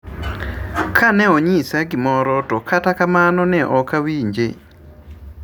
Kaneonyisa gimoro to kata kamano an ne okawinje